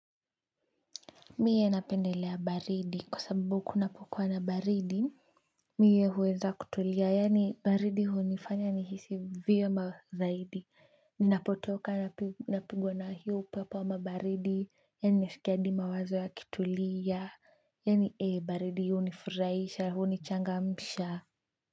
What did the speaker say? Mie napendelea baridi, kwa sababu kunapokuwa na baridi mie huweza kutulia yaani baridi hunifanya nihisi vyema zaidi ninapotoka napigwa na hiyo upepo ama baridi, yaani naskia hadi mawazo yakitulia yaani baridi hunifurahisha hunichangamsha.